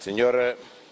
grazie per aver accettato